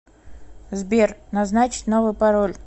сбер назначить новый пароль